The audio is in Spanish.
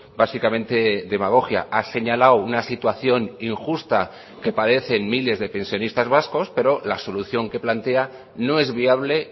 básicamente demagogia ha señalado una situación injusta que padecen miles de pensionistas vascos pero la solución que plantea no es viable